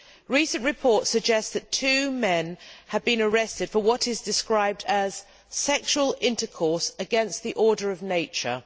Recent reports suggest that two men have been arrested for what is described as sexual intercourse against the order of nature'.